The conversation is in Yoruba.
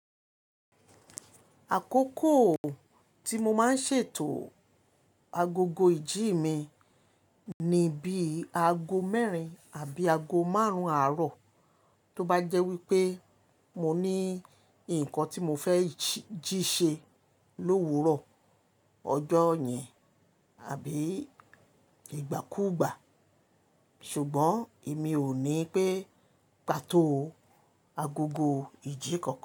Àkókò tí mo máa ń ṣètò agogo ìjí mi ni bí i aago mẹ́rin àbí aago márùn-ún àárọ̀, tó bá jẹ́ wípé mo ní nǹkan tí mo fẹ́ jí ṣe lówu rọ̀ ọjọ́ yẹn àbí ìgbàkúùgbà. Ṣùgbọ́n èmi ò ní pẹ́ pa tó agogo ìjí kankan.